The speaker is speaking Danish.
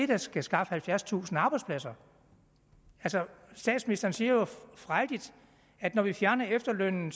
der skal skaffe halvfjerdstusind arbejdspladser altså statsministeren siger jo frejdigt at når vi fjerner efterlønnen